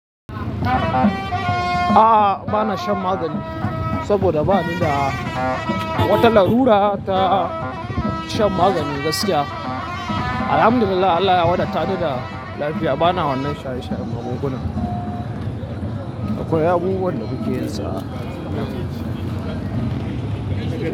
A'a, ba na shan magani saboda ba ni da wata larura ta shan maganin gaskiya. Alhamdulillah, Allah ya wadata ni da lafiya. Bana wannan shaye shayen magungunan. Akwai abubuwan da muke yinsa.